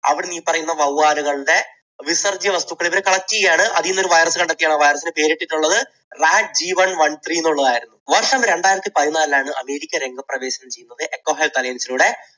അവിടുന്ന് ഈ പറയുന്ന വവ്വാലുകളുടെ വിസർജ്യവസ്തുക്കൾ ഇവര് collect ചെയ്യുകയാണ്. അതിൽനിന്ന് ഒരു virus കണ്ടെത്തിയിട്ട് ആണ് ആ virus ന് പേരിട്ടിട്ടുള്ളത്. rac three one one three എന്നുള്ളത് ആയിരുന്നു. വർഷം രണ്ടായിരത്തി പതിനാലിലാണ് അമേരിക്ക രംഗപ്രവേശനം ചെയ്യുന്നത്, എക്കോ ഹെൽത്ത് അലയൻസിലൂടെ